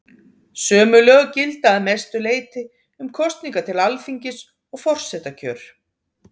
Sömu lög gilda að mestu leyti um kosningar til Alþingis og forsetakjör.